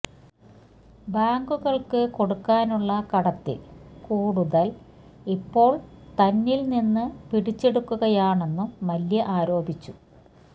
ബാങ്കുകള്ക്ക് കൊടുക്കാനുള്ള കടത്തില് കൂടുതല് ഇപ്പോള് തന്നില് നിന്ന് പിടിച്ചെടുക്കുകയാണെന്നും മല്യ ആരോപിച്ചു